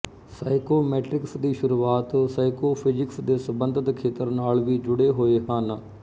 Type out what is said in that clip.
psychometrics ਦੀ ਸ਼ੁਰੂਆਤ psychophysics ਦੇ ਸਬੰਧਤ ਖੇਤਰ ਨਾਲ ਵੀ ਜੁੜੇ ਹੋਏ ਹਨ